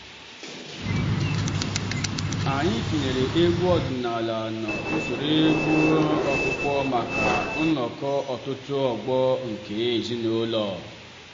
anyị tinyere egwu ọdịnala n’usoro egwu ọkpụkpọ maka nnọkọ ọtụtụ ọgbọ nke ezinụlọ